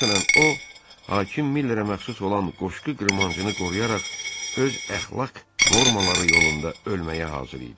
Məsələn, o, hakim Millerə məxsus olan qoşqu qırmancını qoruyaraq öz əxlaq normaları yolunda ölməyə hazır idi.